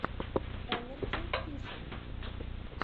энарджи фишинг